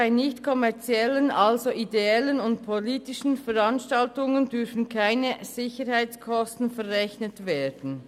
Bei nicht kommerziellen, also ideellen und politischen Veranstaltungen, dürfen erst recht keine Sicherheitskosten verrechnet werden.